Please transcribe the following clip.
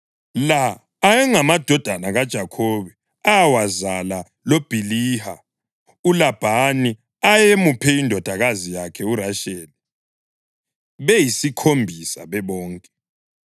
La ayengamadodana kaJakhobe awazala loBhiliha, uLabhani ayemuphe indodakazi yakhe uRasheli, beyisikhombisa bebonke.